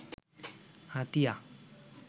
Hatiya